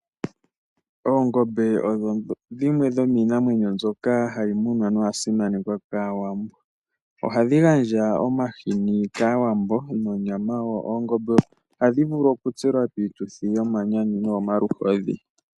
Oongombe odho dhimwe dhomiinamwenyo mbyoka hayi munwa noya simanekwa kAawambo. Ohadhi gandja omahini kAawambo nonyama wo. Oongombe ohadhi vulu oku tselwa piituthi yomanyanyu noyomaluhodhi.